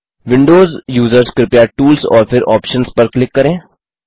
Windows users कृपया tools और फिर आप्शंस पर क्लिक करें